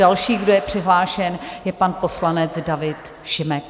Další, kdo je přihlášen, je pan poslanec David Šimek.